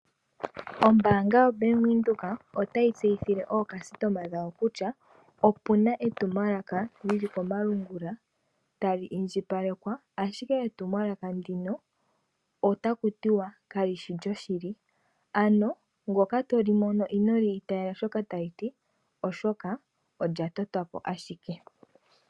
Ombaanga yaVenduka otayi tseyithile aakwashigwana mboka haya longitha uukalata wayo, kutya opuna etumwalaka lyili komalungula ashike iilonga yookalyampombo. Onkene inaya ninga shoka tali ti.